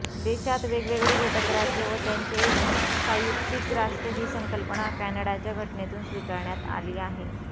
देशात वेगवेगळी घटकराज्ये व त्यांचे एक संयुक्तिक राष्ट्र ही संकल्पना कॅनडाच्या घटनेतून स्वीकारण्यात आली आहे